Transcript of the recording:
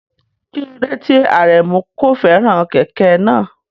Kí ló dé tí Aremu kò fẹ́ràn kẹ̀kẹ́ náà?